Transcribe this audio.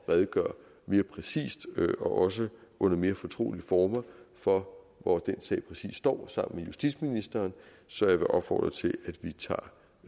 redegøre mere præcist og også under mere fortrolige former for hvor den sag præcis står sammen med justitsministeren så jeg vil opfordre til